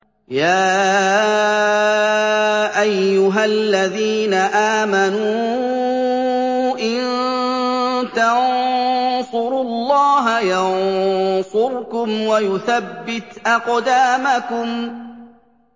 يَا أَيُّهَا الَّذِينَ آمَنُوا إِن تَنصُرُوا اللَّهَ يَنصُرْكُمْ وَيُثَبِّتْ أَقْدَامَكُمْ